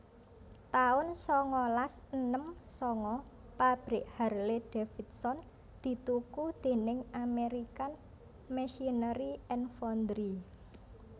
taun sangalas enem sanga Pabrik Harley Davidson dituku déning American Machinery and Foundry